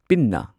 ꯄꯤꯟꯅꯥ